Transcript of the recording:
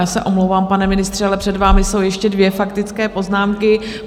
Já se omlouvám, pane ministře, ale před vámi jsou ještě dvě faktické poznámky.